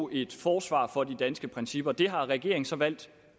give et forsvar for de danske principper det har regeringen så valgt